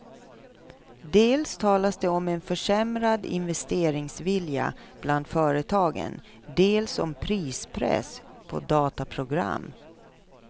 Dels talas det om en försämrad investeringsvilja bland företagen, dels om prispress på dataprogram.